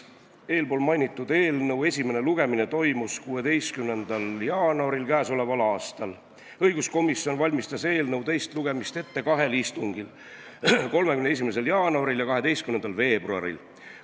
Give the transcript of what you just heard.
Eelmainitud eelnõu esimene lugemine toimus 16. jaanuaril k.a. Õiguskomisjon valmistas eelnõu teist lugemist ette kahel istungil: 31. jaanuaril ja 12. veebruaril.